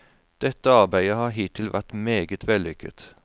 Dette arbeidet har hittil vært meget vellykket.